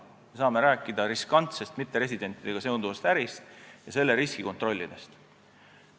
Me saame rääkida riskantsest mitteresidentidega seonduvast ärist ja selle riski kontrollimisest.